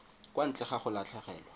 kwa ntle ga go latlhegelwa